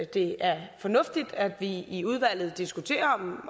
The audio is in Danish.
det er fornuftigt at vi i udvalget diskuterer om